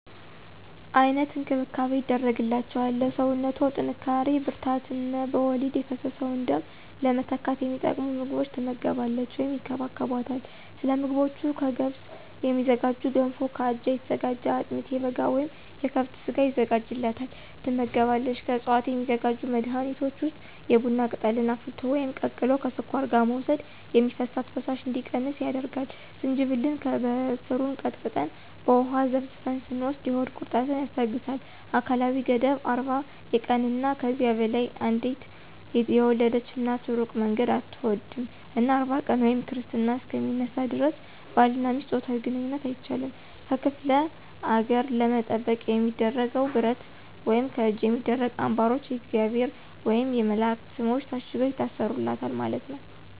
አይነት እንክብካቤ ይደረግላቸዋል ለሰውነቶ ጥንካሪ ብርራታት እነ በወሊድ የፈሰሰውን ደም ለመተካት የሚጠቅሙ ምግቦች ትመገባለች ወይም ይከባከቦታል። ሰለምግቦቹ ከገብስ የሚዝጋጁ ገንፎ ከአጃ የተዘጋጀ አጥሚት የበጋ ወይም የከብት ስጋ የዘጋጅላታል ትመገባለች። ከዕፅዋት የሚዘጋጁ መድኃኒቶች ውስጥ የቡና ቅጠልን አፍልቶ ወይም ቀቅሎ ከስኳር ጋር መውሰድ የሚፈሳት ፈሳሽ እንዲቀንስ ያደርጋል፣ ዝንጅብልን በሰሩን ቀጥቀጠን በውሃ ዘፍዝፈን ስትወስድ የሆድ ቁረጠትን ያስታገሳል። አካላዊ ገደብ 40 የቀንና ከዚያ በላይ አንዴት የወለድች እናት እሩቅ መንገድ አትሆድም እና 40 ቀን ወይም ክርስትና እሰከ ሚነሳ ደረስ ባልና ሚስት ጾታዊ ግንኝነት አይቻልም። ከክፍለ ነገር ለመጠበቅ የሚደረገው ብረት ወይም ከእጅ የሚደረጉ አንባሮች የእግዚአብሔር ወየም የመላእክት ሰሞች ታሽገው ይታሰሩለታል ማለት ነው።